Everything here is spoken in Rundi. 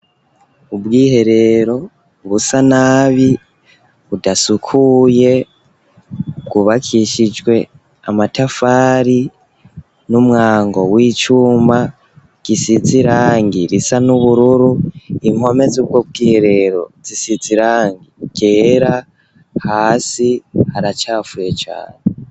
Ubwiherero busa nabi, budasukuye, bwubakishijwe amatafari n'umwango w'icuma gisize irangi risa n'ubururu, impome z'ubwo bwiherero zisize irangi ryera, hasi haracafuye cane.